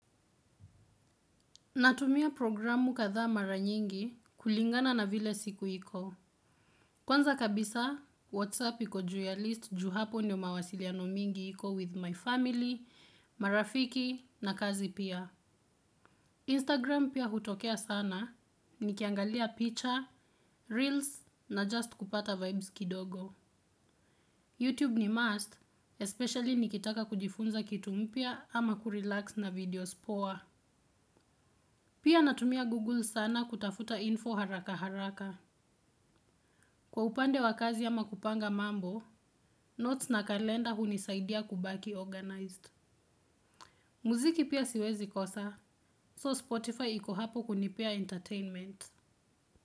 Natumia programu kadhaa mara nyingi kulingana na vile siku iko. Kwanza kabisa, Whatsapp iko juu ya list ju hapo ndio mawasiliano mingi iko with my family, marafiki na kazi pia. Instagram pia hutokea sana, nikiangalia picha, reels na just kupata vibes kidogo. YouTube ni must, especially nikitaka kujifunza kitu mpya ama kurelax na videos poa. Pia natumia Google sana kutafuta info haraka haraka. Kwa upande wa kazi ama kupanga mambo, notes na kalenda hunisaidia kubaki organized. Muziki pia siwezi kosa, so Spotify iko hapo kunipea entertainment.